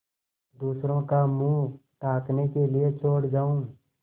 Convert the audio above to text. दूसरों का मुँह ताकने के लिए छोड़ जाऊँ